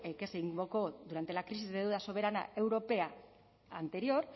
que se invocó durante la crisis de deuda soberana europea anterior